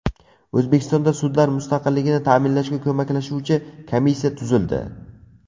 O‘zbekistonda sudlar mustaqilligini ta’minlashga ko‘maklashuvchi komissiya tuzildi.